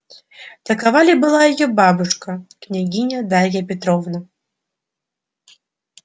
такова ли была её бабушка княгиня дарья петровна